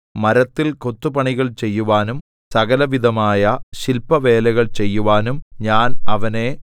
മരത്തിൽ കൊത്തുപണികൾ ചെയ്യുവാനും സകലവിധമായ ശില്പവേലകൾ ചെയ്യുവാനും ഞാൻ അവനെ